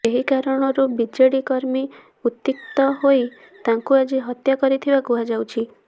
ଏହି କାରଣରୁ ବିଜେଡି କର୍ମୀ ଉତ୍କ୍ଷିପ୍ତ ହୋଇ ତାଙ୍କୁ ଆଜି ହତ୍ୟା କରିଥିବା କୁହାଯାଉଛି